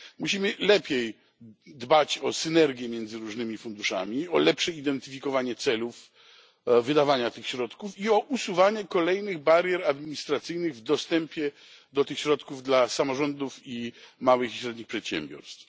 Musimy lepiej dbać o synergię między różnymi funduszami, o lepsze identyfikowanie celów wydawania tych środków i o usuwanie kolejnych barier administracyjnych w dostępie do tych środków dla samorządów i małych i średnich przedsiębiorstw.